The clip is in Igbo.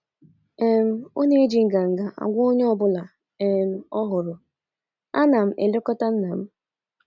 um Ọ na - eji nganga agwa onye ọ bụla um ọ hụrụ: ‘ ana elekọta nna m! ’